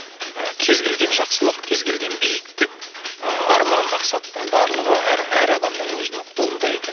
ы кез келген жақсылық кез келген биіктік ыыы арман мақсаттың барлығы әр әр адамның өзінің қолында екен